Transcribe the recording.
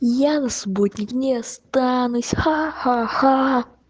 я вас будет не останусь ха-ха-ха